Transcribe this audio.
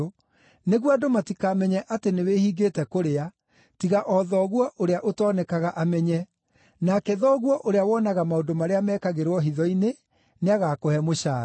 nĩguo andũ matikamenye atĩ nĩwĩhingĩte kũrĩa, tiga o Thoguo ũrĩa ũtoonekaga amenye; nake Thoguo ũrĩa wonaga maũndũ marĩa mekagĩrwo hitho-inĩ, nĩagakũhe mũcaara.